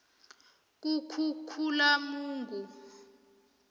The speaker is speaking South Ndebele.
kukhukhulamungu